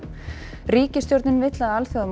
ríkisstjórnin vill að